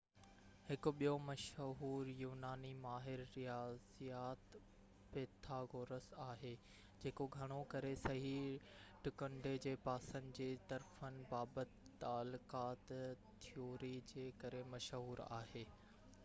هڪ ٻيو مشهور يوناني ماهر رياضيات پيٿاگورس آهي جيڪو گهڻو ڪري صحيح ٽڪنڊي جي پاسن جي طرفن بابت تعلقات ٿيوري جي ڪري مشهور آهي